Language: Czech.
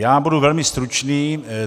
Já budu velmi stručný.